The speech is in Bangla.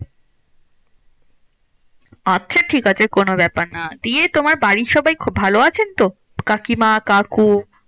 আচ্ছা ঠিকআছে কোনো ব্যাপার না। দিয়ে তোমার বাড়ির সবাই ভালো আছেন তো? কাকিমা কাকু?